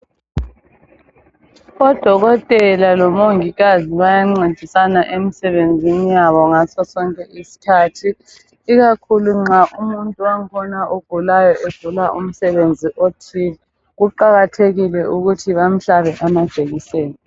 Odokodela lomongikazi bayancedisana emsebenzini yabo ngasosonke isikhathi ikakhulu nxa umuntu wang' khona ogulayo egula umsebenzi othile kuqakathekile ukuthi bamhlabe amajekiseni